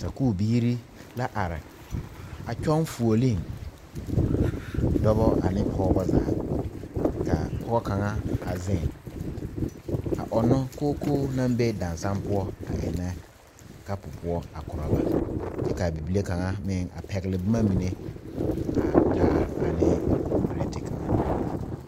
Sakuubiire la are a kyɔŋ fuoleeŋ dɔbɔ ane pɔɔbɔ zaa ka pɔɔ kaŋa wa zeŋ a ɔŋnɔ kookoo naŋ be daŋsaŋ poɔ a eŋnɛ kapu poɔ a korɔ ba kyɛ kaa bibile kaŋa meŋ a pɛgle bomma mine a taa ane pirɛte kaŋa.